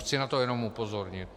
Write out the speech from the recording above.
Chci na to jenom upozornit.